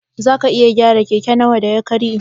Zaka iya gyara keke nawa da ya karye?